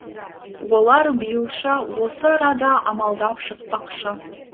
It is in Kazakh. олар биылша осы арада амалдап шықпақшы